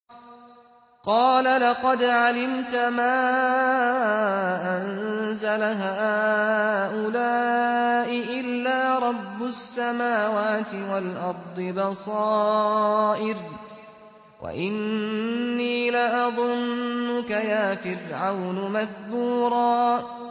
قَالَ لَقَدْ عَلِمْتَ مَا أَنزَلَ هَٰؤُلَاءِ إِلَّا رَبُّ السَّمَاوَاتِ وَالْأَرْضِ بَصَائِرَ وَإِنِّي لَأَظُنُّكَ يَا فِرْعَوْنُ مَثْبُورًا